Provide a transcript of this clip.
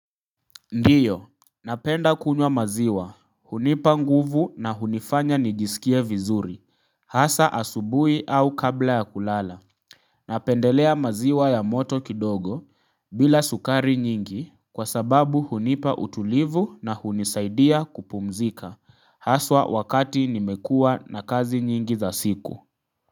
Ndiyo, napenda kunywa maziwa, hunipa nguvu na hunifanya nijisikie vizuri, hasa asubuhi au kabla ya kulala. Napendelea maziwa ya moto kidogo, bila sukari nyingi, kwa sababu hunipa utulivu na hunisaidia kupumzika, haswa wakati nimekuwa na kazi nyingi za siku.